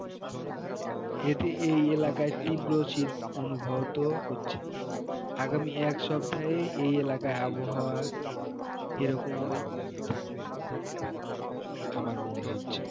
এতে এই এলাকায় তীব্র শীত অনুভূত হচ্ছে আগামী এক সপ্তাহ এলাকার আবহাওয়া এরকমই থাকতে পারে আমার মনে হচ্ছে